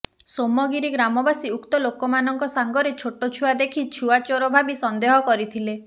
ସୋମଗିରି ଗ୍ରାମବାସୀ ଉକ୍ତ ଲୋକମାନଙ୍କ ସାଙ୍ଗରେ ଛୋଟ ଛୁଆ ଦେଖି ଛୁଆ ଚୋର ଭାବି ସନ୍ଦେହ କରିଥିଲେ